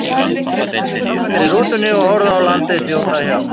Og nú sátu strákarnir í rútunni og horfðu á landið þjóta hjá.